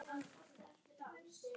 Sú varð ekki raunin.